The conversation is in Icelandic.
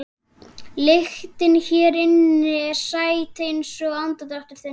Lyktin hér inni er sæt einsog andardráttur þinn.